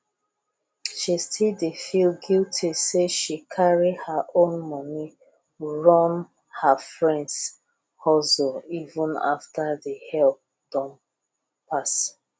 she still dey feel guilty say she carry her own money run her friends hustleeven after the help don pass